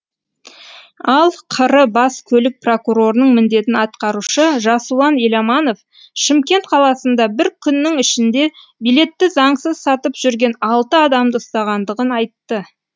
ал қр бас көлік прокурорының міндетін атқарушы жасұлан еламанов шымкент қаласында бір күннің ішінде билетті заңсыз сатып жүрген алты адамды ұстағандығын айтты